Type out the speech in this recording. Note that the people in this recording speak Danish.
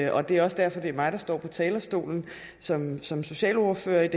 og det er også derfor at det er mig der står på talerstolen som som socialordfører